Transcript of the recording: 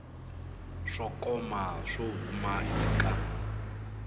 swo koma swo huma eka